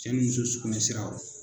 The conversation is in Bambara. Cɛ ni muso sugunɛ sira yɔrɔ